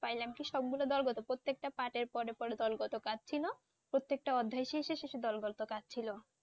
পাইলাম কি সবগুলো দলগত। প্রতেকটা পার্টের পড়ে পড়ে দলগত কাজ ছিল। প্রত্যেকটা অধ্যায় শেষে শেষে দলগত কাজ ছিল।